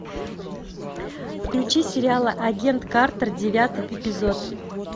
включи сериал агент картер девятый эпизод